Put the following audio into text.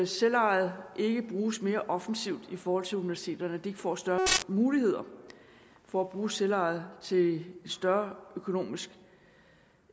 selvejet ikke bruges mere offensivt i forhold til universiteterne at de ikke får større muligheder for at bruge selvejet til større økonomisk